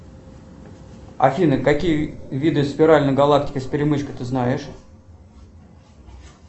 афина какие виды спиральной галактики с перемычкой ты знаешь